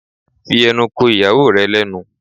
Fi ẹnu ko ìyàwó rẹ lẹ́nu!